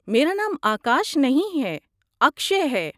میرا نام آکاش نہیں ہے، اکشئے ہے۔